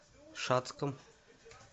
шацком